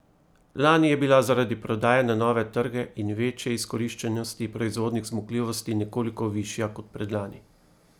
Lani je bila zaradi prodaje na nove trge in večje izkoriščenosti proizvodnih zmogljivosti nekoliko višja kot predlani.